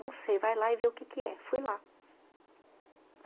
Não sei, vai lá e vê o que que é. Fui lá.